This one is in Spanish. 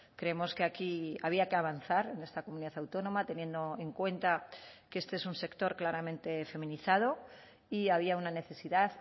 creemos que aquí había que avanzar en esta comunidad autónoma teniendo en cuenta que este es un sector claramente feminizado y había una necesidad